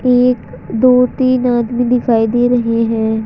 एक दो तीन आदमी दिखाई दे रहे हैं।